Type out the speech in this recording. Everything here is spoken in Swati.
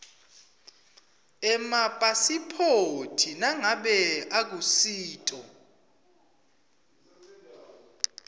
emapasiphoti nangabe akusito